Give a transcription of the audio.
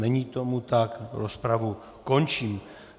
Není tomu tak, rozpravu končím.